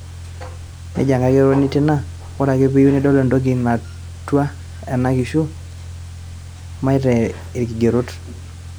nejo enkaigeroni Tina, " ore ake peyieu nidol entoki natua ena kishu, maitaa ilkigerot"